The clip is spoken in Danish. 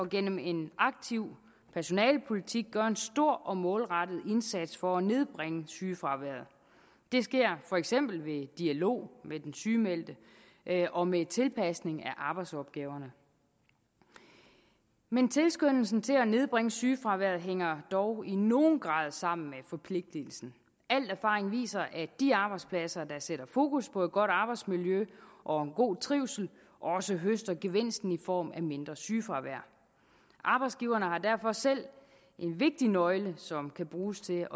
gennem en aktiv personalepolitik gør en stor og målrettet indsats for at nedbringe sygefraværet det sker for eksempel ved dialog med den sygemeldte og med tilpasning af arbejdsopgaverne men tilskyndelsen til at nedbringe sygefraværet hænger dog i nogen grad sammen med forpligtelsen al erfaring viser at de arbejdspladser der sætter fokus på et godt arbejdsmiljø og en god trivsel også høster gevinsten i form af mindre sygefravær arbejdsgiverne har derfor selv en vigtig nøgle som kan bruges til